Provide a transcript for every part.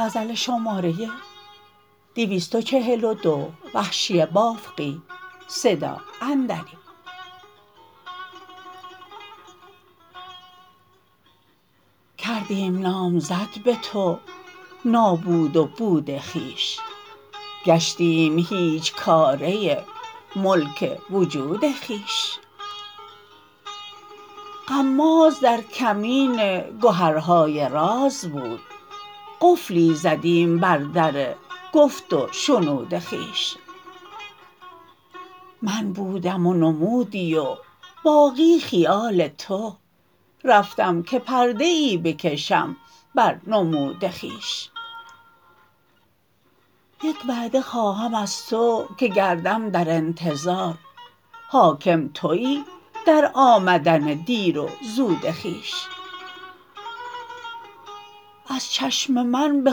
کردیم نامزد به تو نابود و بود خویش گشتیم هیچکاره ملک وجود خویش غماز در کمین گهرهای راز بود قفلی زدیم بر در گفت و شنود خویش من بودم و نمودی و باقی خیال تو رفتم که پرده ای بکشم بر نمود خویش یک وعده خواهم از تو که گردم در انتظار حاکم تویی در آمدن دیر و زود خویش از چشم من به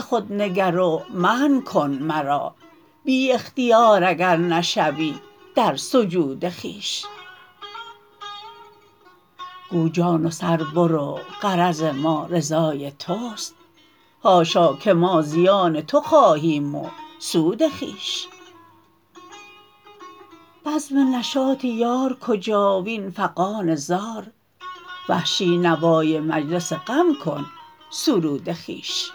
خود نگر و منع کن مرا بی اختیار اگر نشوی در سجود خویش گو جان و سر برو غرض ما رضای تست حاشا که ما زیان تو خواهیم و سود خویش بزم نشاط یار کجا وین فغان زار وحشی نوای مجلس غم کن سرود خویش